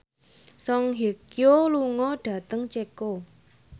Song Hye Kyo lunga dhateng Ceko